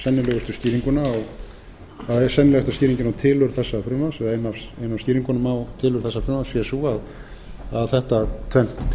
skýringuna á það er sennilega skýringin á tilurð þessa frumvarps að ein af skýringunum á tilurð þessa frumvarps sé sú að þetta tvennt